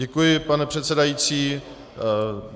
Děkuji, pane předsedající.